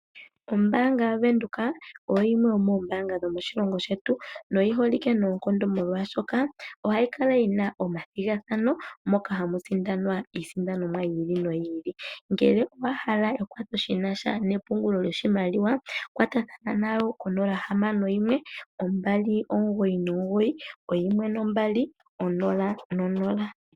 Ombaanga yaVenduka oyimwe yomoombaanga dho moshilongo shetu, noyi holike noonkondo molwaashoka ohayi kala yina omathigathano moka hamu sindanwa iisindanomwa yi ili noyi ili. Ngele owa hala ekwatho shi nasha nepungulo lyoshimaliwa, kwatathana nayo konola hamano yimwe, ombali omugoyi nomugoyi, oyimwe nombali, onola nonola.